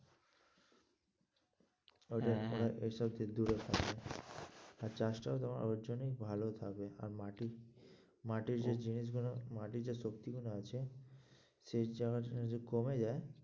ঐটাই, ওরা ঐসব থেকে দূরে থাকবে আর চাষটাও তোমার ওর জন্যেই ভালো থাকবে, আর মাটি মাটির যে জিনিসগুলো মাটির যে শক্তিগুলো আছে সেই charge যদি কমে যায়,